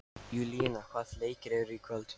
Júlíana, hvaða leikir eru í kvöld?